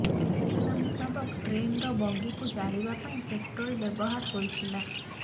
ସୂଚନା ମୁତାବକ ଟ୍ରେନର ବଗିକୁ ଜାଳିବା ପାଇଁ ପେଟ୍ରୋଲ ବ୍ୟବହାର ହୋଇଥିଲା